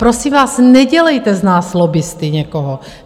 Prosím vás, nedělejte z nás lobbisty někoho.